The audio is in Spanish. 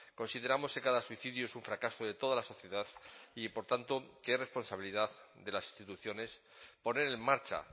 consideramos que cada suicidio es un fracaso de toda la sociedad y por tanto que es responsabilidad de las instituciones poner en marcha